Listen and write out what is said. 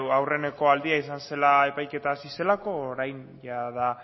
aurreneko aldia izan zela epaiketa hasi zelako orain jada